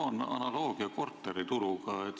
Ma toon analoogia korterituruga.